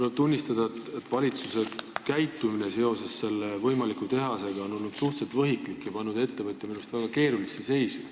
Tuleb tunnistada, et valitsuse käitumine seoses selle tehase võimaliku rajamisega on olnud suhteliselt võhiklik ja pannud ettevõtja minu arust väga keerulisse seisu.